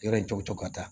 Yɔrɔ in cogo ka ca